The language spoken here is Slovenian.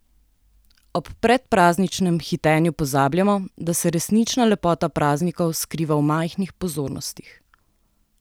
Ob predprazničnem hitenju pozabljamo, da se resnična lepota praznikov skriva v majhnih pozornostih.